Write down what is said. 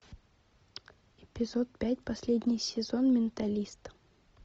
эпизод пять последний сезон менталист